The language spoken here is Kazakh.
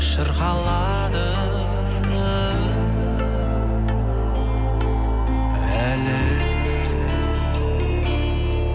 шырқалады әлі